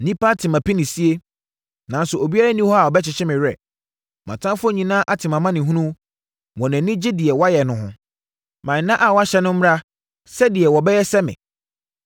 “Nnipa ate mʼapinisie, nanso obiara nni hɔ a ɔbɛkyekye me werɛ. Mʼatamfoɔ nyinaa ate mʼamanehunu wɔn ani gye deɛ woayɛ no ho. Ma nna a woahyɛ no mmra sɛdeɛ wɔbɛyɛ sɛ me.